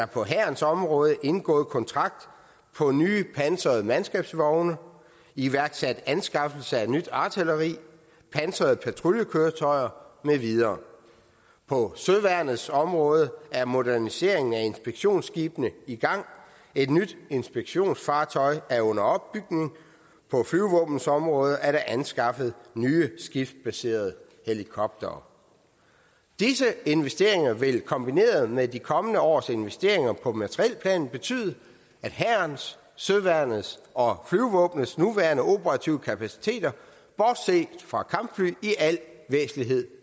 på hærens område indgået kontrakt på nye pansrede mandskabsvogne iværksat anskaffelse af nyt artilleri pansrede patruljekøretøjer med videre på søværnets område er moderniseringen af inspektionsskibene i gang og et nyt inspektionsfartøj er under opbygning på flyvevåbenets område er der anskaffet nye skibsbaserede helikoptere disse investeringer vil kombineret med de kommende års investeringer på materielplanen betyde at hærens søværnets og flyvevåbnets nuværende operative kapaciteter bortset fra kampfly i al væsentlighed